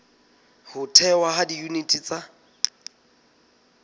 ho thehwa ha diyuniti tsa